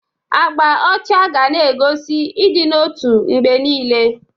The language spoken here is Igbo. Agba ọcha ga-na egosi ịdị n'otu mgbe niile.